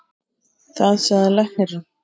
Það sagði læknirinn.